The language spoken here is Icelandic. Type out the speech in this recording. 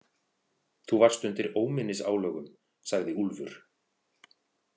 Þú varst undir óminnisálögum, sagði Úlfur.